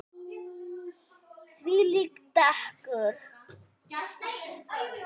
Þvílíkt dekur.